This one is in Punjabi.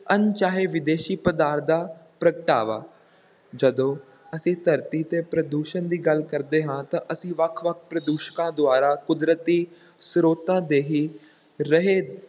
ਅਣਚਾਹੇ ਵਿਦੇਸ਼ੀ ਪਦਾਰਥ ਦਾ ਪ੍ਰਗਟਾਵਾ, ਜਦੋਂ ਅਸੀਂ ਧਰਤੀ ‘ਤੇ ਪ੍ਰਦੂਸ਼ਣ ਦੀ ਗੱਲ ਕਰਦੇ ਹਾਂ, ਤਾਂ ਅਸੀਂ ਵੱਖ-ਵੱਖ ਪ੍ਰਦੂਸ਼ਕਾਂ ਦੁਆਰਾ ਕੁਦਰਤੀ ਸਰੋਤਾਂ ਦੇ ਹੀ ਰਹੇ